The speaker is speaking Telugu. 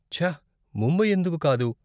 ఛ, ముంబై ఎందుకు కాదు?